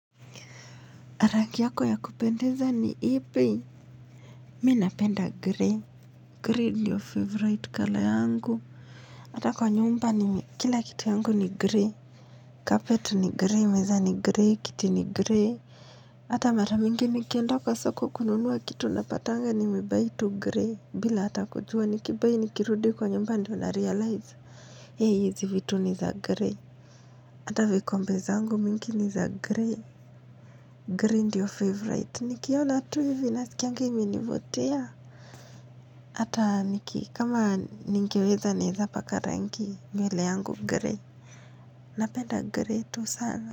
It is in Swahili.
Rangi yako ya kupendeza ni ipi? Mi napenda gray, Gray ndiyo favorite colour yangu hata kwa nyumba ni kila kitu yangu ni gray carpet ni gray meza ni grey kiti ni gray hata maramingi nikienda kwa soko kununua kitu napatanga nime-buy tu gray bila hata kujua niki-buy nikirudi kwa nyumba ndiyo na-realize hizi vitu ni za gray hata vikombe zangu mingi ni za gray Gray ndiyo favorite Nikiona tu hivi nasikianga imenivutia Hata niki kama nikiweza ningepaka rangi nywele yangu gray Napenda gray tu sana.